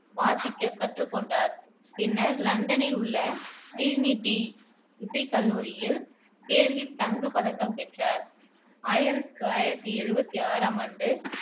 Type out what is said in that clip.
வாசிக்கக் கற்றுக்கொண்டார் பின்னர் லண்டனில் உள்ள டிரினிடி இசைக்கல்லூரியில் தேர்வில் தங்கப் பதக்கம் பெற்றார் ஆயிரத்தி தொள்ளாயிரத்தி எழுவத்தி ஆறாம் ஆண்டு